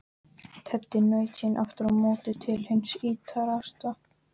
Teddi naut sín aftur á móti til hins ýtrasta.